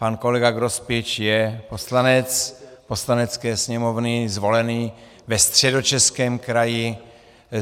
Pan kolega Grospič je poslanec Poslanecké sněmovny zvolený ve Středočeském kraji.